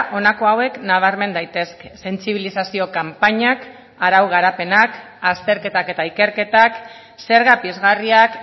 honako hauek nabarmen daitezke sentsibilizazio kanpainak arau garapenak azterketak eta ikerketak zerga pizgarriak